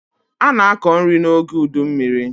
A na-akọ nri n'oge udummiri.